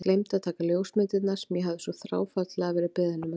Gleymdi að taka ljósmyndirnar sem ég hafði svo þráfaldlega verið beðinn um að gera.